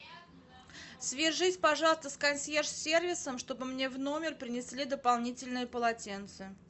свяжись пожалуйста с консьерж сервисом чтобы мне в номер принесли дополнительное полотенце